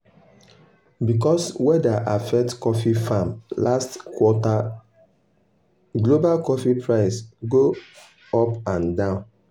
because weather affect coffee farm last quarter global coffee price go up and down.